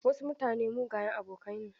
Wasu mutane mugayen abokai ne.